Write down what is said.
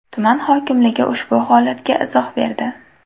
Tuman hokimligi ushbu holatga izoh berdi.